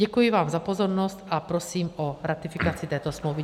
Děkuji vám za pozornost a prosím o ratifikaci této smlouvy.